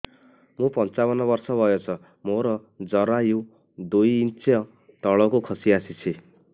ମୁଁ ପଞ୍ଚାବନ ବର୍ଷ ବୟସ ମୋର ଜରାୟୁ ଦୁଇ ଇଞ୍ଚ ତଳକୁ ଖସି ଆସିଛି